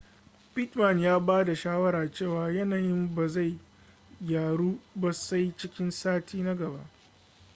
pittman ya ba da shawara cewa yanayin ba zai gyaru ba sai cikin sati na gaba